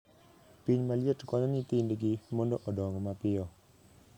Piny maliet konyo nyithindgi mondo odong mapiyo.